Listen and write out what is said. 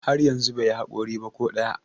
har yanzu bai yi haƙori ba ko ɗaya